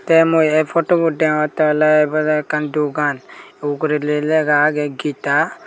te mui ey photobot degongotte oley ibot ekkan dogan uguredi lega agey geeta.